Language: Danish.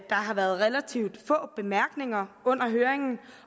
har været relativt få bemærkninger under høringen